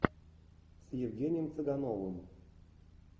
с евгением цыгановым